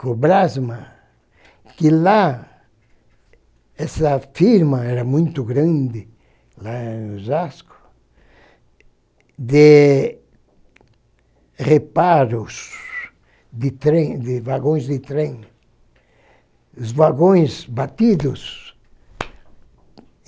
Cobrasma, que lá, essa firma era muito grande, lá em Osasco, de reparos de trens de vagões de trem, os vagões batidos.